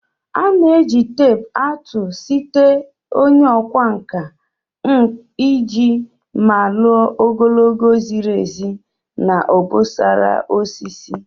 A na-eji teepu atụ site onye okwa nka iji malu ogologo ziri ezi na obosara nke osisi